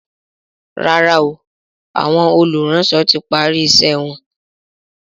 ràrá o Àwọn olùránsọ tí pari iṣé wón.